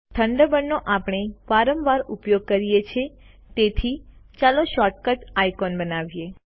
Thunderbird નો આપણે વારંવાર ઉપયોગ કરીએ છે તેથી ચાલો શોર્ટ કટ આઇકોન બનાવીએ